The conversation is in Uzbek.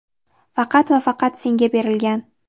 faqat va faqat senga berilgan.